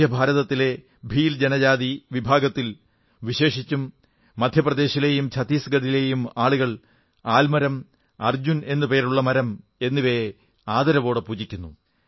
മധ്യഭാരതത്തിലെ ഭീൽ ജനജാതി വിഭാഗത്തിൽ വിശേഷിച്ചും മധ്യപ്രദേശിലെയും ഛത്തീസ്ഗഢിലെയും ആളുകൾ ആൽമരം അർജുൻ എന്നു പേരുള്ള മരം എന്നിവയെ ആദരവോടെ പൂജിക്കുന്നു